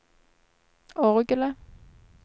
orgelet